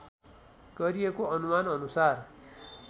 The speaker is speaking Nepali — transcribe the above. गरिएको अनुमान अनुसार